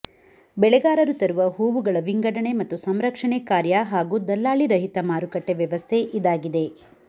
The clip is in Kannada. ಬೆಳೆಗಾರರು ತರುವ ಹೂವುಗಳ ವಿಂಗಡಣೆ ಮತ್ತು ಸಂರಕ್ಷಣೆ ಕಾರ್ಯ ಹಾಗೂ ದಲ್ಲಾಳಿರಹಿತ ಮಾರುಕಟ್ಟೆ ವ್ಯವಸ್ಥೆ ಇದಾಗಿದೆ